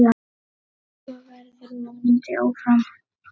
Svo verður vonandi áfram.